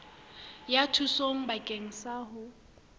ya thuso bakeng sa ho